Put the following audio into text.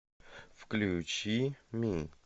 включи ми